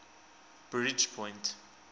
bridgepoint